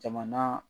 Jamana